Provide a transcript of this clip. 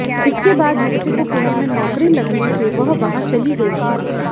इसके बाद युवती को पुणे में नौकरी लगने से वह वहां चली गई थी